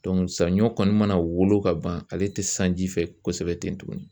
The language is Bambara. sanɲɔn kɔni mana wolo ka ban, ale tɛ san ji fɛ kosɛbɛ ten tuguni.